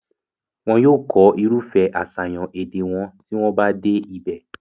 wọn yóò kọ́ irúfẹ́ àṣàyàn èdè wọn tí wọ́n bá dé ibẹ̀